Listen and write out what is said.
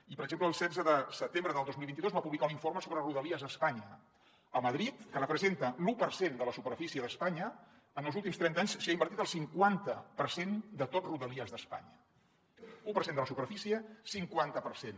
i per exemple el setze de setembre del dos mil vint dos va publicar un informe sobre rodalies a espanya a madrid que representa l’u per cent de la superfície d’espanya en els últims trenta anys s’hi ha invertit el cinquanta per cent de tot rodalies d’espanya u per cent de la superfície cinquanta per cent